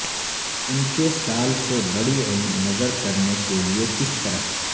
ان کے سال سے بڑی عمر نظر کرنے کے لئے کس طرح